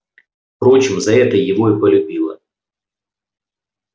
впрочем за это его и полюбила